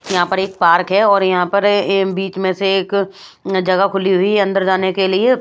यहाँ पर एक पार्क है और यहाँ पर बीच में से एक जगह खुली हुई है अंदर जाने के लिए।